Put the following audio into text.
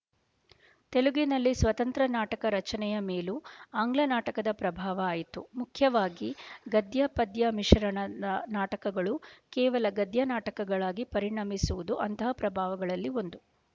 ತೆಲುಗಿನಲ್ಲಿ ಸ್ವತಂತ್ರ ನಾಟಕ ರಚನೆಯ ಮೇಲೂ ಆಂಗ್ಲ ನಾಟಕದ ಪ್ರಭಾವ ಆಯಿತು ಮುಖ್ಯವಾಗಿ ಗದ್ಯಪದ್ಯ ಮಿಶರಣದ ನಾಟಕಗಳು ಕೇವಲ ಗದ್ಯನಾಟಕಗಳಾಗಿ ಪರಿಣಮಿಸುವುದು ಅಂತಹ ಪ್ರಭಾವಗಳಲ್ಲಿ ಒಂದು